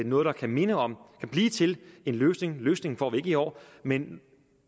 noget der kan minde om og blive til en løsning løsningen får vi ikke i år men